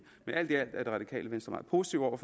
alt i alt er det radikale venstre meget positive over